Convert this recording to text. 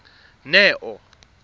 neo